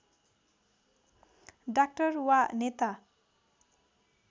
doctor वा नेता